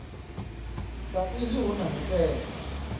sa izwi hu na mitengo